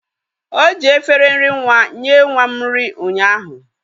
O ji efere nri nwa nye nwa m nri ụnyaahu.